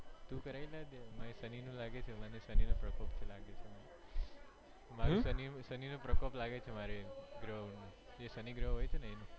કરાઈ ના દે મને શનિ નો લાગે છે મને શનિ નો પ્રકોપ લાગે છે, મારે શનિ નો શનિ નો પ્રકોપ લાગે છે મારે ગ્રહો નો જે શનિ ગ્રહ હોય છે એનુ